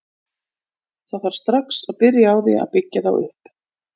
Það þarf strax að byrja á því að byggja þá upp.